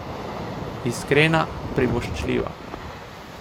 Iskrena, privoščljiva.